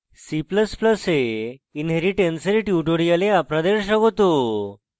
c ++ এ inheritance এর tutorial আপনাদের স্বাগত